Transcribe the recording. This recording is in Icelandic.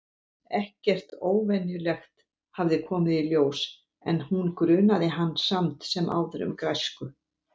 Ekkert óvenjulegt hafði komið í ljós- en hún grunaði hann samt sem áður um græsku.